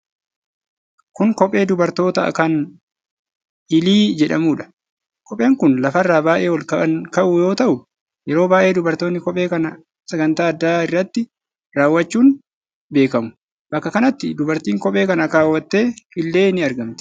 Kun kophee dubartootaa kan Hiilii jedhamuudha. Kopheen kun lafarraa baay'ee ol kan ka'u yoo ta'u, yeroo baay'ee dubartoonni kophee kana sagantaa addaa irratti kaawwachuun beekamu. Bakka kanatti dubartiin kophee kana kaawwatte illee ni argamti.